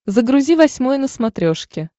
загрузи восьмой на смотрешке